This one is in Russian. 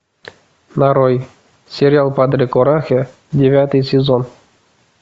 нарой сериал падре корахе девятый сезон